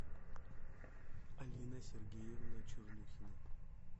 алина сергеевна чернухина